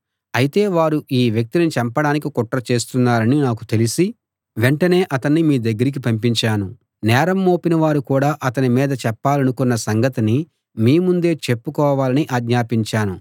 అయితే వారు ఈ వ్యక్తిని చంపడానికి కుట్ర చేస్తున్నారని నాకు తెలిసి వెంటనే అతణ్ణి మీ దగ్గరికి పంపించాను నేరం మోపినవారు కూడా అతని మీద చెప్పాలనుకున్న సంగతిని మీ ముందే చెప్పుకోవాలని ఆజ్ఞాపించాను